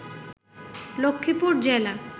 লক্ষ্মীপুর জেলা